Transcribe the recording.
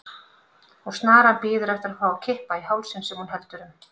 Og snaran bíður eftir að fá að kippa í hálsinn sem hún heldur um.